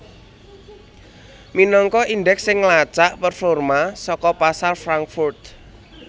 minangka indeks sing nglacak performa saka pasar Frankfurt